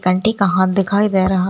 Aunty का हाथ दिखाई दे रहा।